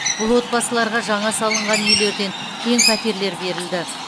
бұл отбасыларға жаңа салынған үйлерден кең пәтерлер берілді